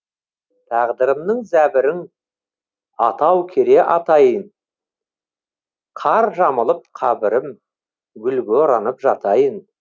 тағдырымның зәбірің атау кере атайын қар жамылып қабірім гүлге оранып жатайын